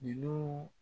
N'u